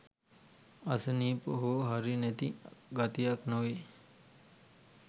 අසනීප හෝ හරි නැති ගතියක් නොවෙයි